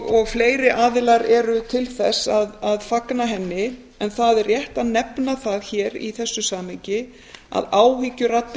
og fleiri aðilar eru til þess að fagna henni en það er rétt að nefna það hér í þessu samhengi að áhyggjuraddir